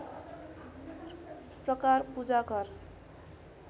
प्रकार पूजा घर